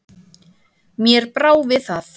Mér brá við það.